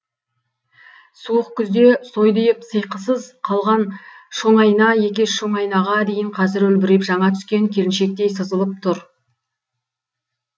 суық күзде сойдиып сиықсыз қалған шоңайна екеш шоңайнаға дейін қазір үлбіреп жана түскен келіншектей сызылып тұр